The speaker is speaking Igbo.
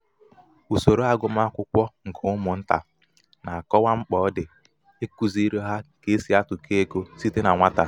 usoro agụmakwụkwọ nke umụnta na-akọwa mkpa ọ dị ikuziri ha ka e si atụkọ ego site na nwata.